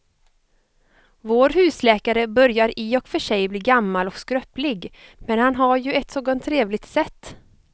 Vår husläkare börjar i och för sig bli gammal och skröplig, men han har ju ett sådant trevligt sätt!